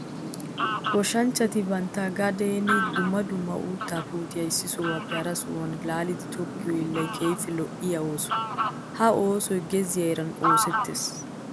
Goshanchchatti bantta gaden dumma dumma uutta puutiya issi sohuwappe hara sohuwaa laalliddi tokkiyo hiillay keehippe lo'iyaa ooso. Ha oosoy gezziya heeran oosetees.